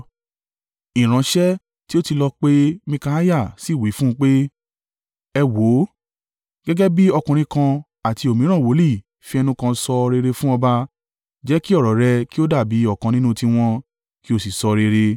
Ìránṣẹ́ tí ó ti lọ pe Mikaiah sì wí fún un pé, “Ẹ wò ó, gẹ́gẹ́ bí ọkùnrin kan àti òmíràn wòlíì fi ẹnu kan sọ rere fún ọba. Jẹ́ kí ọ̀rọ̀ rẹ kí ó dàbí ọ̀kan nínú tiwọn, kí o sì sọ rere.”